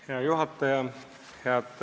Hea juhataja!